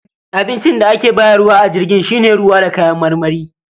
Abincin da ake bayarwa a jirgin shi ne ruwa da kayan marmari